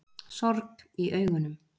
Sorg í augunum.